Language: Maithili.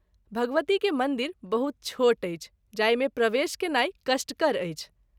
भगवती के मंदिर बहुत छोट अछि जाहि मे प्रवेश केनाई कष्टकर अछि।